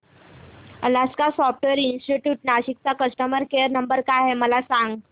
Alaska software institute Nashik चा customer care number काय आहे मला सांग